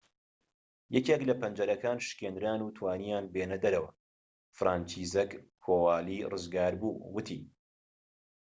یەکێك لە پەنجەرەکان شکێنران و توانییان بێنە دەرەوە فرانچیزەک کۆوالی ڕزگاربوو وتی